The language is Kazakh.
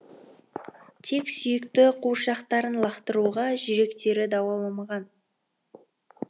тек сүйікті қуыршақтарын лақтыруға жүректері дауаламаған